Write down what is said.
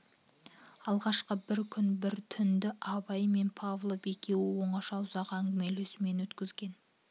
алғашқы бір күн бір түнді абай мен павлов екеуі оңаша ұзақ әңгімелесумен өткізген